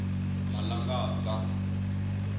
malangadza